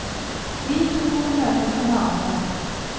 Vi to får møtes en annen gang.